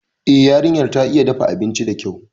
Eh, yarinyar ta iya dafa abinci dakyau